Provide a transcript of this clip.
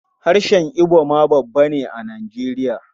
Harshen Ibo ma babba ne a Nijeriya.